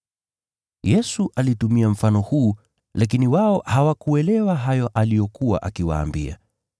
Yesu alitumia mfano huu, lakini wao hawakuelewa hayo aliyokuwa akiwaambia.